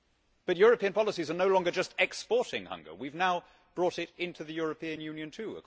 But European policies are no longer just exporting hunger we have now brought it into the European Union too.